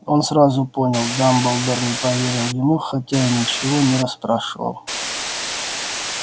он сразу понял дамблдор не поверил ему хотя и ничего не расспрашивал